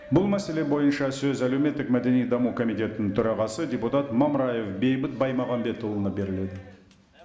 бұл мәселе бойынша сөз әлеуметтік мәдени даму комитетінің төрағасы депутат мамыраев бейбіт баймағамбетұлына беріледі